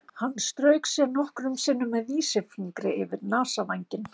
Hann strauk sér nokkrum sinnum með vísifingri yfir nasavænginn.